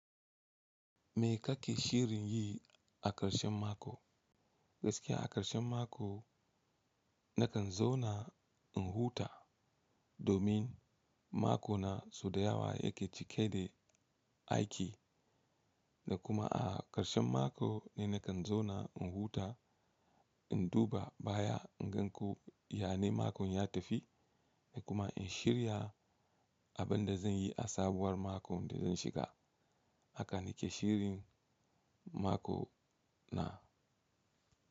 Me kake shirin yi a ƙarshen mako? Gaskiya a ƙarshen mako na kan zo na in huta domin mako na so dayawa yake cike da aiki da kuma a ƙarshen mako ne na kan zo na in huta, in duba baya, in gan ko yane makon ya tafi da kuma in shirya abin da zan yi a sabuwar makon da zan shiga. Haka nike shirin mako na.